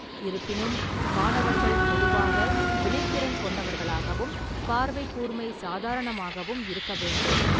இருப்பினும், மாணவர்கள் பொதுவாக வினைத்திறன் கொண்டவர்களாகவும், பார்வைக் கூர்மை சாதாரணமாகவும் இருக்க வேண்டும்.